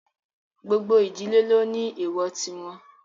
Gbogbo ìdílé ló ní èwọ̀ tí wọn